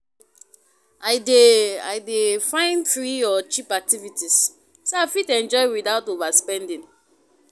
I dey I dey find free or cheap activities so I fit enjoy without overspending.